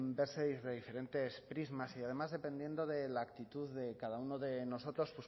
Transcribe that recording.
verse desde diferentes prismas y además dependiendo de la actitud de cada uno de nosotros